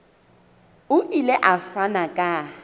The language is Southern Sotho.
o ile a fana ka